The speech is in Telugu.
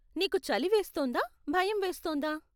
నీకు చలి వేస్తోందా, భయం వేస్తోందా?